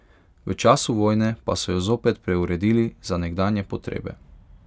V času vojne pa so jo zopet preuredili za nekdanje potrebe.